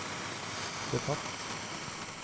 betatt